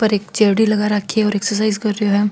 पर एक चेयर डी लगा रखी है और एक्सरसाइज कर रो है।